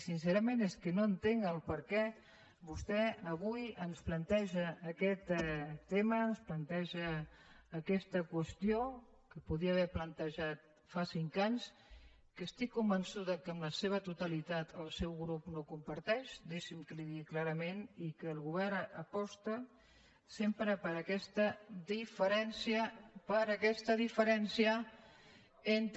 sincerament és que no entenc per què vostè avui ens planteja aquest tema ens planteja aquesta qüestió que podia haver plantejada fa cinc anys que estic convençuda que en la seva totalitat el seu grup no comparteix deixi’m que li ho digui clarament i que el govern aposta sempre per aquesta diferència per aquesta diferència entre